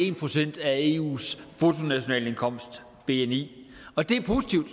en procent af eus bruttonationalindkomst bni og det er positivt